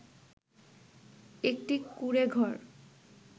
একটি কুঁড়ে ঘর